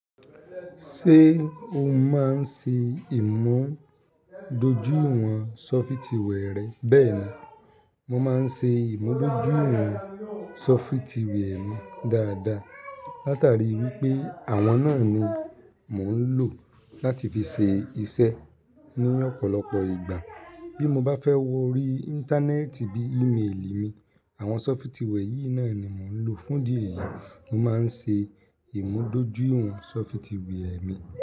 Ṣé o máa ń ṣe ìmúdójúìwọ̀n sọfitì wẹ̀ rẹ? Bẹ́ẹ̀ ni, mo máa ń ṣe ìmúdójúìwọ̀n sọfitì wẹ̀ mi dáadáa. Látàrí wípé àwọn náà ni mò ń lò láti fi ṣe iṣẹ́ ní ọ̀pọ̀lọpọ̀ ìgbà. Bí mo bá fẹ́ wo orí Íńtánẹ́ẹ̀tì bí i-míìlì mi, àwọn sọfitì wẹ̀ yìí náà ni mò ń lò. Fún dí èyí, mo máa ń ṣe ìmúdójúìwọ̀n sọfitì wẹ̀ mi.